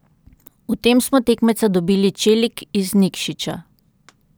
V tem smo za tekmeca dobili Čelik iz Nikšića.